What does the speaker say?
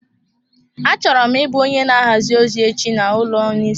Achọrọ m ị bụ onye na ahazi ozi echi n'ụlọ niyuzupepa.